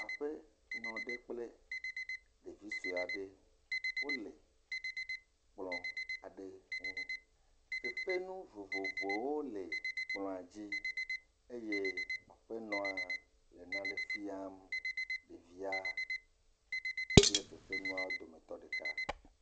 Aƒenɔ aɖe kple ɖevi sɔe aɖe, wole kplɔ aɖe ŋu, fefenu vovovvowo le kplɔa dzi eye aƒenɔa le nane fiam ɖevia kple fefenuawo wo dometɔ ɖeka.